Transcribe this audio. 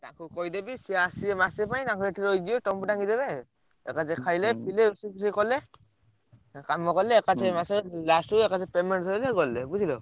ତାକୁ କହିଦେବି ସିଏ ଆସିବ ମାସେ ପାଇଁ ତାଙ୍କ ଏଠି ରହିଯିବେ ତମକୁ ଡାକି ଦେବେ ହୁଁ